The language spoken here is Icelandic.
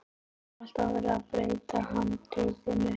Það er alltaf verið að breyta handritinu.